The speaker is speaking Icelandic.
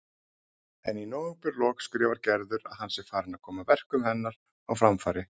En í nóvemberlok skrifar Gerður að hann sé farinn að koma verkum hennar á framfæri.